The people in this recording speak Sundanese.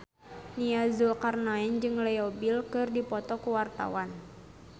Nia Zulkarnaen jeung Leo Bill keur dipoto ku wartawan